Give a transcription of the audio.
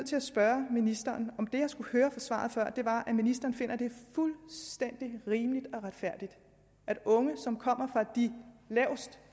til at spørge ministeren om det jeg skulle høre i svaret før var at ministeren finder at det fuldstændig rimeligt og retfærdigt at unge som kommer fra